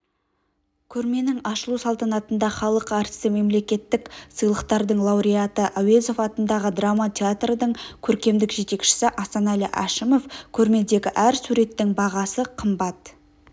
көрменің ашылу салтанатында халық әртісі мемлекеттік сыйлықтардың лауреаты әуезов атындағы драма театрдың көркемдік жетекшісі асанәлі әшімов көрмедегі әр суреттің бағасы қымбат